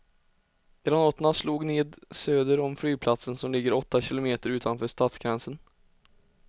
Granaterna slog ned söder om flygplatsen som ligger åtta kilometer utanför stadsgränsen.